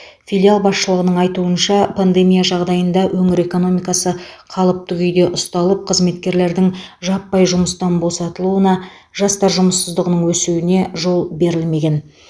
филиал басшылығының айтуынша пандемия жағдайында өңір экономикасы қалыпты күйде ұсталып қызметкерлердің жаппай жұмыстан босатылуына жастар жұмыссыздығының өсуіне жол берілмеген